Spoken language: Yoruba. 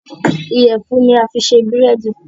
iyẹfun ni a fí ṣe Búrẹ́di.